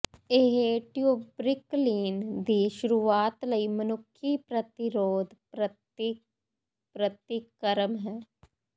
ਇਹ ਟਿਊਬ੍ਰਿਕਲੀਨ ਦੀ ਸ਼ੁਰੂਆਤ ਲਈ ਮਨੁੱਖੀ ਪ੍ਰਤੀਰੋਧ ਪ੍ਰਤੀ ਪ੍ਰਤੀਕਰਮ ਹੈ